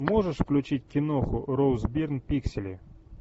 можешь включить киноху роуз бирн пиксели